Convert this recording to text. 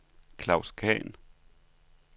Klaus Khan